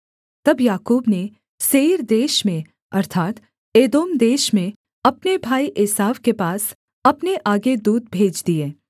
तब याकूब ने सेईर देश में अर्थात् एदोम देश में अपने भाई एसाव के पास अपने आगे दूत भेज दिए